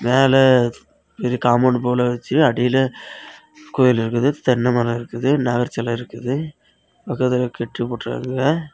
மேல இரு காம்பவுண்ட் போல வச்சு அடியில கோயில் இருக்குது தென்னை மரம் இருக்குது நாகர் சிலை இருக்குது பக்கத்துல கட்டிபோட்ருகாங்க.